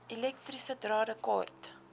elektriese drade kort